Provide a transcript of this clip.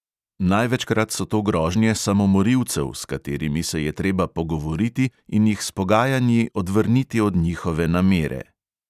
Največkrat so to grožnje samomorilcev, s katerimi se je treba pogovoriti in jih s pogajanji odvrniti od njihove namere.